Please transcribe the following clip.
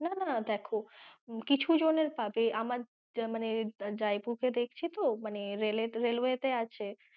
না না দেখো কিছু জনের পাবে আমার জাইবু কে দেখছি তো মানে rail এর railway তে আছে,